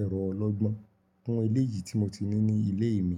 ẹ̀rọ ọlọ́gbọ́n kún eléyìí tí mo ti ní ní ilé mi.